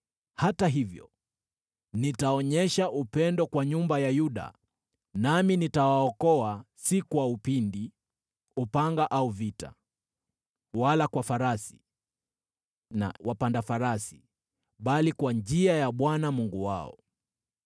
Hata hivyo nitaonyesha upendo kwa nyumba ya Yuda, nami nitawaokoa si kwa upinde, upanga au vita, wala kwa farasi na wapanda farasi, bali kwa njia ya Bwana Mungu wao.”